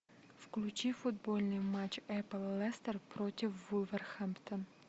включи футбольный матч апл лестер против вулверхэмптон